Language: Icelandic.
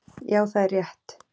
Já það er rétt.